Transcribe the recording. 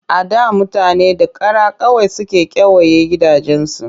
A da mutane da kara kawai suke kewaye gidajensu